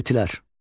Qutilər.